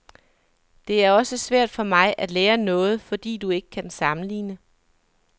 Det er også svært for mig at lære noget, fordi du ikke kan sammenligne.